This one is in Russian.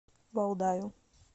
валдаю